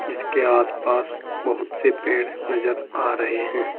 इसके आस पास बहुत से पेड़ नजर आ रहे हैं।